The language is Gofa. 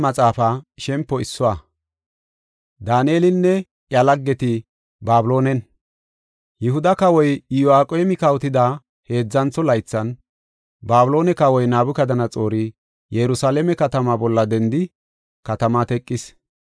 Yihuda kawoy Iyo7aqeemi kawotida heedzantho laythan Babiloone Kawoy Nabukadanaxoori Yerusalaame katama bolla dendi katamaa teqis.